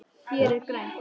Hér er grænt.